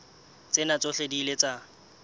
tsena tsohle di ile tsa